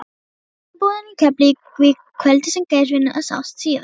Hafnarbúðina í Keflavík kvöldið sem Geirfinnur sást síðast.